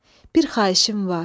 Bir xahişim var.